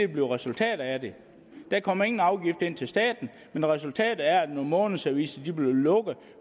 bliver resultatet af det der kommer ingen afgift ind til staten men resultatet er at nogle månedsaviser bliver lukket